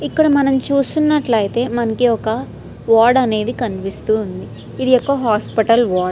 ఇక్కడ మనం చూస్తున్నట్లయితే మనకి ఒక వార్డ్ అనేది కనిపిస్తూ ఉంది ఇది ఒక హాస్పిటల్ వార్డ్ .